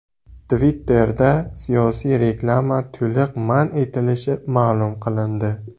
Twitter’da siyosiy reklama to‘liq man etilishi ma’lum qilindi.